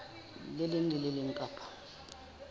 leng le le leng kapa